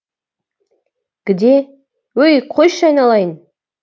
где өй қойшы айналайын